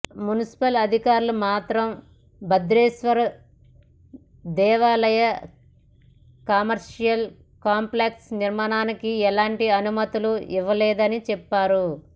municipal అధికారులు మాత్రం భద్రేశ్వర దేవాలయ కమర్షియల్ కాంప్లెక్స్ నిర్మాణానికి ఎలాంటి అనుమతులు ఇవ్వలేదని చెప్పారు